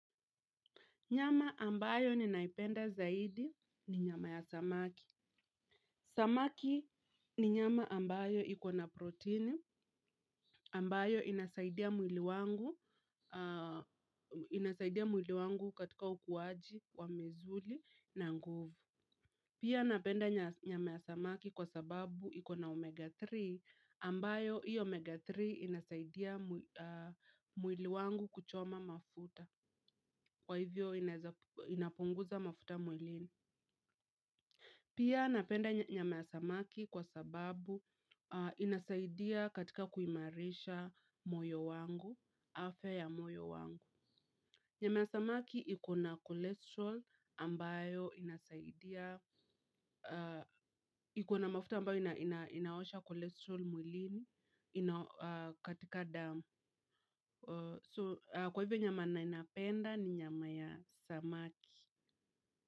Nyama ambayo ninaipenda zaidi ni nyama ya samaki. Samaki ni nyama ambayo iko na proteini, ambayo inasaidia mwili wangu, inasaidia mwili wangu katika ukuaji wa misuli na nguvu. Pia napenda nyama ya samaki kwa sababu iko na omega tatu, ambayo iyo omega tatu inasaidia mwili wangu kuchoma mafuta, kwa hivyo inapunguza mafuta mwilini. Pia napenda nyama ya samaki kwa sababu inasaidia katika kuimarisha moyo wangu, afya ya moyo wangu. Nyama ya samaki iko na kolesterol ambayo inasaidia, iko na mafuta ambayo inaosha kolesterol mwilini katika damu. Kwa hivyo nyama yenye napenda ni nyama ya samaki.